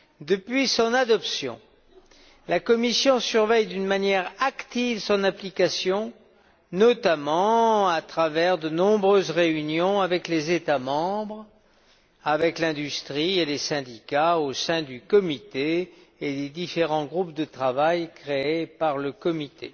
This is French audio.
Depuis son adoption, la Commission surveille d'une manière active son application, notamment à travers de nombreuses réunions avec les États membres, avec l'industrie et les syndicats, au sein du comité et des différents groupes de travail créés par le comité.